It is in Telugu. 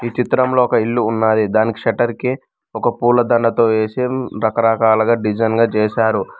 చిత్రంలో ఒక ఇల్లు ఉన్నాది దానికి షేట్టర్ కి ఒక పూలదండతో వేసి రకరకాలుగా డిజైన్ గా చేశారు.